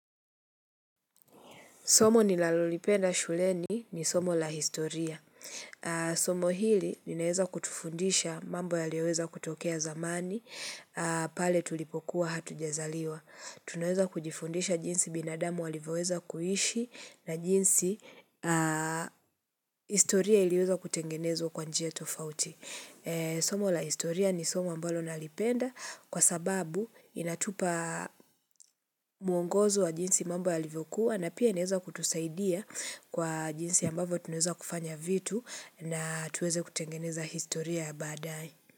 Somo ninalolipenda shuleni ni somo la historia. Somo hili ninaweza kutufundisha mambo yaliyoweza kutokea zamani, pale tulipokuwa hatujjazaliwa. Tunaweza kujifundisha jinsi binadamu walivyoweza kuishi na jinsi historia iliweza kutengenezwa kwa njia tofauti. Somo la historia ni somo ambalo nalipenda kwa sababu inatupa mwongozo wa jinsi mambo yalivyokuwa na pia inaweza kutusaidia kwa jinsi ambavyo tunaweza kufanya vitu na tuweze kutengeneza historia baadaye.